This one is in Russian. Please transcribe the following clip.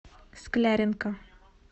скляренко